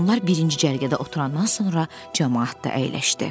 Onlar birinci cərgədə oturandan sonra camaat da əyləşdi.